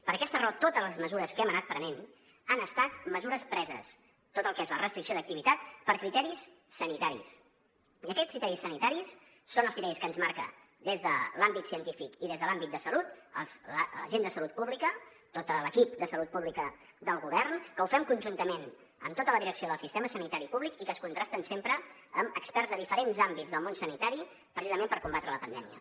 per aquesta raó totes les mesures que hem anat prenent han estat mesures preses tot el que és la restricció d’activitat per criteris sanitaris i aquests criteris sanitaris són els criteris que ens marca des de l’àmbit científic i des de l’àmbit de salut la gent de salut pública tot l’equip de salut pública del govern que ho fem conjuntament amb tota la direcció del sistema sanitari públic i que es contrasten sempre amb experts de diferents àmbits del món sanitari precisament per combatre la pandèmia